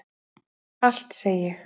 Allt segi ég.